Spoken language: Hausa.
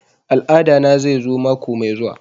Al'ada na zai zo mako mai zuwa